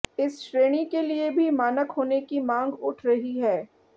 इस श्रेणी के लिए भी मानक होने की मांग उठ रही है